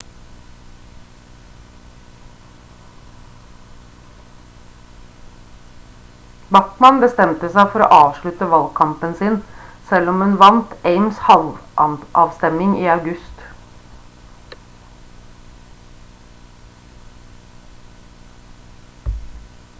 bachmann bestemte seg for å avslutte valgkampen sin selv om hun vant ames-halmavstemning i august